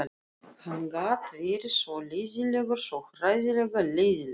Hann gat verið svo leiðinlegur, svo hræðilega leiðinlegur.